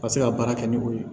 Ka se ka baara kɛ ni o ye